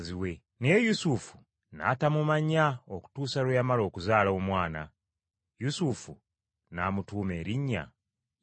Naye Yusufu n’atamumanya okutuusa lwe yamala okuzaala Omwana. Yusufu n’amutuuma erinnya Yesu.